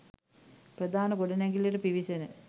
ප්‍රධාන ගොඩනැගිල්ලට පිවිසෙන